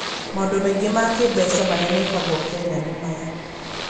Maũndũ mangĩ ma kĩĩmbeca marĩa mekagwo Kenya nĩ maya: